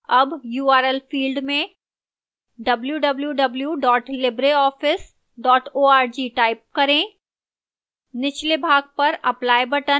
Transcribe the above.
अब url field में www libreoffice org type करें